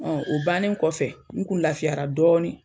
o bannen kɔfɛ n kun lafiyara dɔɔnin